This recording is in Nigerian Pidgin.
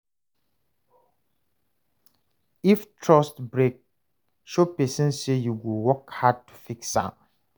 If trust break, show pesin say yu go work hard to fix am.